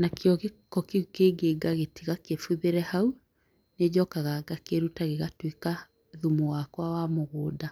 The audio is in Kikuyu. nakĩo gĩko kĩu kĩngĩ ngatiga kĩbuthĩre hau. Nĩnjokaga ngakĩruta gĩgatuĩka thumu wakwa wa mũgũnda.